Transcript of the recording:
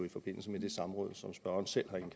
i forbindelse med det samråd som spørgeren selv